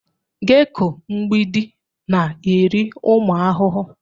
Geko mgbidi na-eri ụmụ ahụhụ.